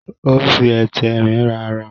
o n fí Ẹti Ẹrin rà ara.